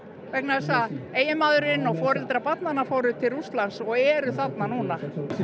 vegna þess að eiginmaðurinn og foreldrar barnanna fóru til Rússlands og eru þarna núna